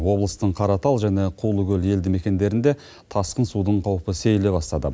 облыстың қаратал және қулыкөл елді мекендерінде тасқын судың қаупі сейіле бастады